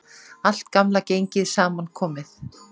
Allt gamla gengið saman komið